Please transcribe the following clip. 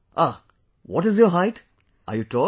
Ah, what is your height, are you tall